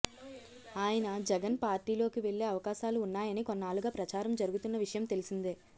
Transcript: ఆయన జగన్ పార్టీలోకి వెళ్లే అవకాశాలు ఉన్నాయని కొన్నాళ్లుగా ప్రచారం జరుగుతున్న విషయం తెలిసిందే